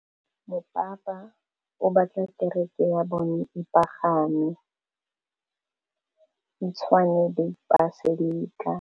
Mopapa o batla kereke ya bone e pagame, e tshwane le paselika.